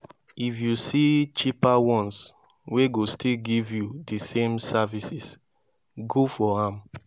if yu see cheaper ones wey go still giv yu di same services go for am